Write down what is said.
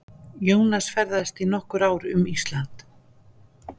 Jónas ferðaðist í nokkur ár um Ísland.